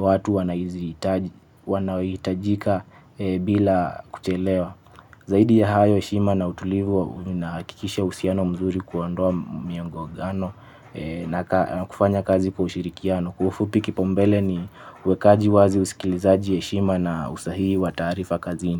watu wanaohitajika bila kuchelewa. Zaidi ya hayo heshima na utulivu inahakikisha uhusiano mzuri kuondoa miongogano na kufanya kazi kwa ushirikiano. Kwa ufupi kipaumbele ni uwekaji wazi, usikilizaji, heshima na usahii wa taarifa kazini.